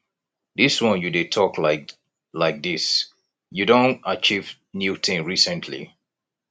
dis one you dey talk like like dis you don achieve new thing recently